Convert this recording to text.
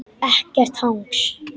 Ekkert hangs!